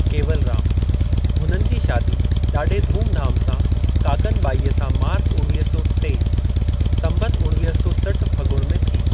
केवलरामः हुननि जी शादी ॾाढे धाम-धूम सां काकनिबाईअ सां मार्च उणवीह सौ टे (संबतु उणवीह सौ सठ फॻुण) में थी।